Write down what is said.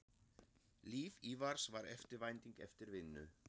Líf Ívars var eftirvænting eftir vinnu.